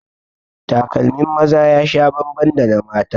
Takalmin maza ya sha bambam da na mata